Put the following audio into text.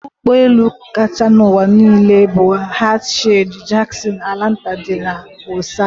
Odụ ụgbọ elu kacha n'ụwa n'ile bu Hartsfield-Jackson Atlanta dị na ụsa